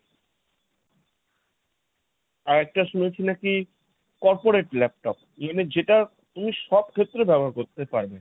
আর একটা শুনেছি নাকি corporate laptop মানে যেটা তুমি সব ক্ষেত্রে ব্যবহার করতে পারবে।